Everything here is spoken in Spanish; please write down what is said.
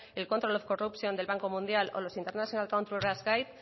el control of corruption del banco mundial o los international country risk guide